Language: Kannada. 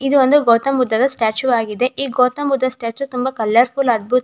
ಇದೊಂದು ಗೌತಮ ಬುದ್ಧನ ಸ್ಟ್ಯಾಚು ಆಗಿದೆ. ಈ ಗೌತಮ ಬುದ್ಧ ಸ್ಟ್ಯಾಚು ತುಂಬ ಕಲರ್ಫುಲ್ ಅದ್ಬುತ--